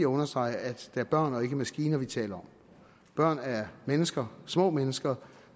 understrege at det er børn og ikke maskiner vi taler om børn er mennesker små mennesker